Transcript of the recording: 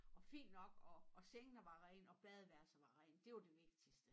Og fint nok og og sengene var rene og badeværelset var rent og det var det vigtigste